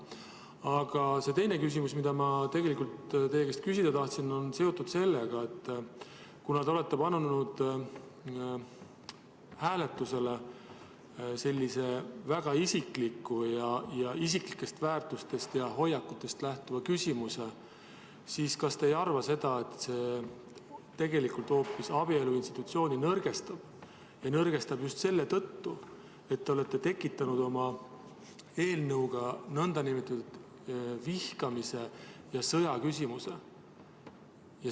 Aga teine küsimus, mida ma teie käest küsida tahtsin, on seotud sellega, et kuna te olete pannud hääletusele väga isikliku ja isiklikest väärtustest ja hoiakutest lähtuva küsimuse, siis kas te ei arva, et see hoopis abielu institutsiooni nõrgestab, just selle tõttu, et te olete tekitanud oma eelnõuga nn vihkamise ja sõja küsimuse.